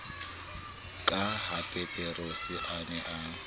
ka hapeterose a ne a